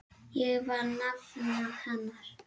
Ég var nafna hennar.